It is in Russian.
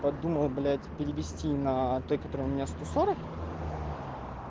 подумал блять перевести на той который у меня сто сорок